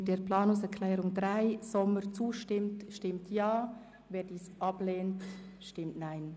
Wer der Planungserklärung 3 zustimmt, stimmt Ja, wer diese ablehnt, stimmt Nein.